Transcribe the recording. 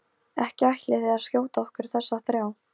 Ekki ætlið þér að skjóta okkur þessa þrjá?